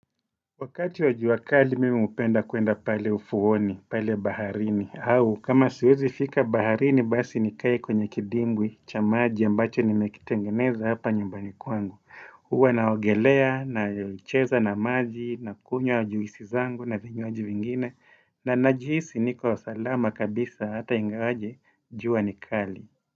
Wakati wa jua kali, mimi hupenda kwenda pale ufuoni, pale baharini. Au, kama siwezi fika baharini, basi nikae kwenye kidimbwi, cha maji, ambacho nimekitengeneza hapa nyumbani kwangu. Huwa naogelea, na ucheza na maji, nakunywa juisi zangu, na vinywaji vingine. Na najihisi, niko salama kabisa, ata ingawaje, jua ni kali.